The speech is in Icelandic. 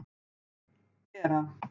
Bera